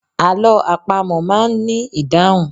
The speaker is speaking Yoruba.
Àlọ́ àpamọ̀ máa ń ní ìdáhùn.